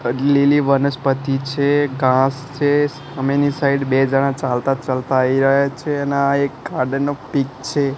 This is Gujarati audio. અ લીલી વનસ્પતિ છે ઘાસ છે સામેની સાઈડ બે જણા ચાલતા ચાલતા આવી રહ્યા છે અને આ એક ગાર્ડન નો પીક છે.